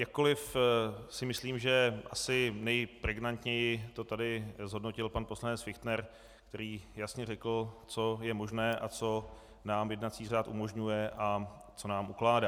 Jakkoliv si myslím, že asi nejpregnantněji to tady zhodnotil pan poslanec Fichtner, který jasně řekl, co je možné a co nám jednací řád umožňuje a co nám ukládá.